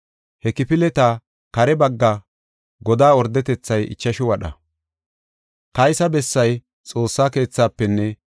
He kifileta kare bagga godaa ordetethay ichashu wadha. Kaysa bessay Xoossa keethaafenne,